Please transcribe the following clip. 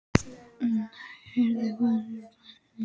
Nei, heyrðu, hvað er að sjá blessað Nílarsefið!